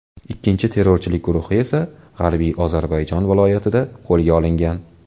Ikkinchi terrorchilik guruhi esa G‘arbiy Ozarbayjon viloyatida qo‘lga olingan.